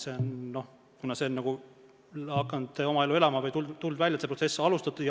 See on hakanud oma elu elama.